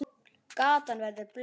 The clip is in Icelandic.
Gatan verður blaut.